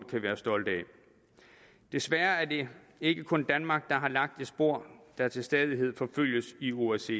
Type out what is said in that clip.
kan være stolte af desværre er det ikke kun danmark der har lagt et spor der til stadighed forfølges i osce